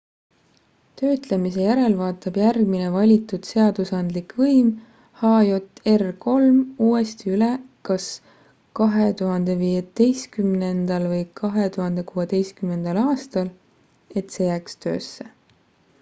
töötlemise järel vaatab järgmine valitud seadusandlik võim hjr-3 uuesti üle kas 2015 või 2016 aastal et see jääks töösse